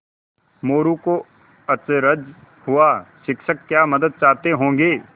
मोरू को अचरज हुआ शिक्षक क्या मदद चाहते होंगे